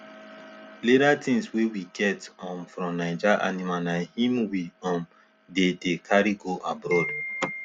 leather tings wey we get um from naija animal na hin we um dey dey carry go abroad